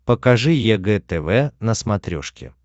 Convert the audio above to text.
покажи егэ тв на смотрешке